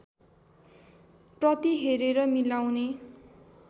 प्रति हेरेर मिलाउने